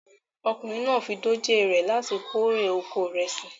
Ọkùnrin náà fi dòjé re láti kórè oko ìrẹsì rẹ̀